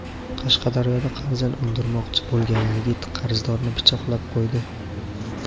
Qashqadaryoda qarzini undirmoqchi bo‘lgan yigit qarzdorni pichoqlab qo‘ydi.